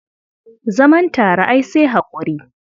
Zaman tare ai sai haƙuri.